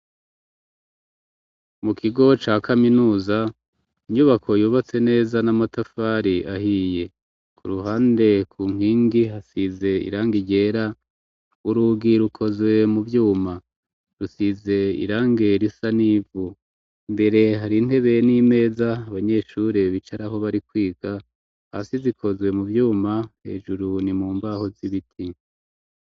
Mu kigo ca kaminuza inyubako yubatse neza n'amatafari ahiye, ku ruhande ku nkingi hasize irangi ryera, urugi rukozwe mu vyuma, rusize irange risa n'ivu imbere hari intebe n'imeza abanyeshure bicarako bari kwiga hasi zikozwe mu vyuma hejuru ni mu mbaho z'ibiti.